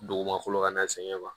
Dugumakolo ka na sɛgɛn ma